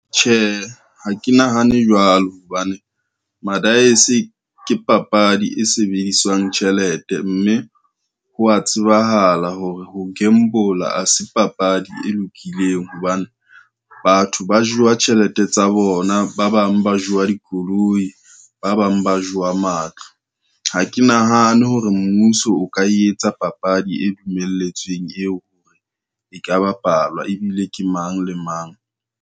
Tjhe, ha ke nahane jwalo hobane, madaese ke papadi e sebediswang tjhelete, mme ho wa tsebahala hore ho gamble-a ha se papadi e lokileng hobane batho ba jewa tjhelete tsa bona, ba bang ba jewa dikoloi, ba bang ba jowa matlo. Ha ke nahane hore mmuso o ka etsa papadi e dumelletsweng eo e ka bapalwa ebile ke mang le mang.